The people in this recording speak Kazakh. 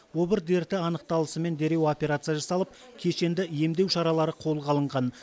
обыр дерті анықталысымен дереу операция жасалып кешенді емдеу шаралары қолға алынған